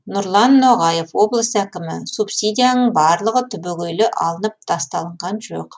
нұрлан ноғаев облыс әкімі субсидияның барлығы түбегейлі алынып тасталынған жоқ